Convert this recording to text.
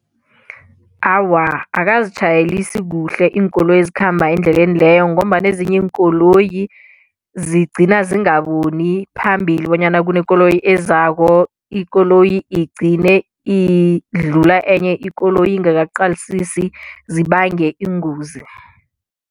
Awa akazitjhayelisi kuhle iinkoloyi ezikhamba endleleni leyo ngombana ezinye iinkoloyi zigcina zingaboni phambili bonyana kunekoloyi ezako ikoloyi igcine idlula enye ikoloyi ingaka qalisisi zibange ingozi.